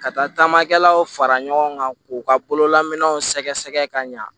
Ka taamakɛlaw fara ɲɔgɔn kan k'u ka bololaminɛw sɛgɛsɛgɛ ka ɲa